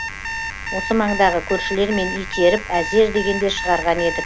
осы маңдағы көршілермен итеріп әзер дегенде шығарған едік